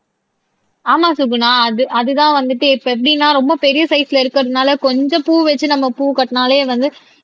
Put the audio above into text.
ஆமா சுகுணா அது அதுதான் வந்துட்டு இப்ப எப்படின்னா ரொம்ப பெரிய சைஸ்ல இருக்கிறதுனால கொஞ்சம் பூ வச்சு நம்ம பூ காட்டினாலே வந்து